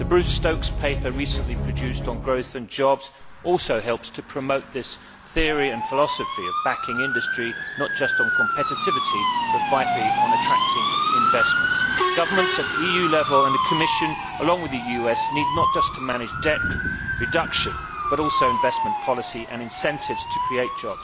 The Bruce Stokes paper recently produced on growth and jobs also helps to promote this philosophy of backing industry not just on competitivity but also, vitally, on attracting investment. Governments at EU level and the Commission, along with the US, need not just to manage debt reduction but also investment policy and incentives to job creation.